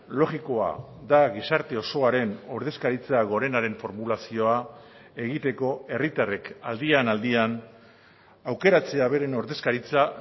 logikoa da gizarte osoaren ordezkaritza gorenaren formulazioa egiteko herritarrek aldian aldian aukeratzea beren ordezkaritza